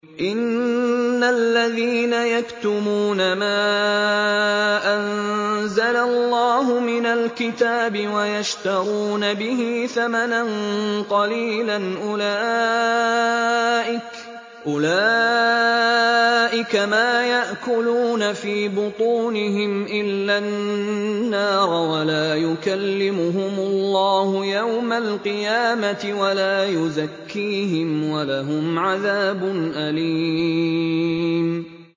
إِنَّ الَّذِينَ يَكْتُمُونَ مَا أَنزَلَ اللَّهُ مِنَ الْكِتَابِ وَيَشْتَرُونَ بِهِ ثَمَنًا قَلِيلًا ۙ أُولَٰئِكَ مَا يَأْكُلُونَ فِي بُطُونِهِمْ إِلَّا النَّارَ وَلَا يُكَلِّمُهُمُ اللَّهُ يَوْمَ الْقِيَامَةِ وَلَا يُزَكِّيهِمْ وَلَهُمْ عَذَابٌ أَلِيمٌ